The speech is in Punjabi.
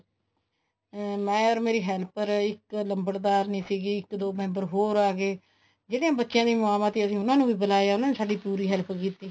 ਅਮ ਮੈਂ or ਮੇਰੀ helper ਇੱਕ ਲੰਬੜਦਾਰਨੀ ਸੀਗੀ ਇੱਕ ਦੋ member ਹੋਰ ਆਗੇ ਜਿਹੜੇ ਬੱਚਿਆਂ ਦੀਆਂ ਮਾਵਾਂ ਸੀ ਅਸੀਂ ਉਹਨਾ ਨੂੰ ਵੀ ਬੁਲਾਇਆ ਉਹਨਾ ਨੇ ਸਾਡੀ ਪੂਰੀ help ਕੀਤੀ